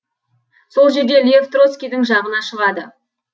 сол жерде лев троцкийдің жағына шығады